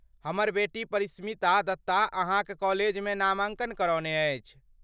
हमर बेटी परिष्मिता दत्ता अहाँक कॉलेजमे नामांकन करौने अछि।